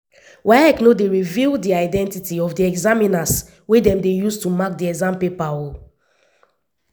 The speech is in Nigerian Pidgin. waec no dey reveal di identity of di examiners wey dem dey use to mark di exam papers.